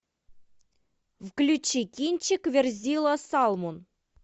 включи кинчик верзила салмон